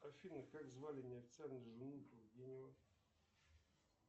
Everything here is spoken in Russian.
афина как звали неофициальную жену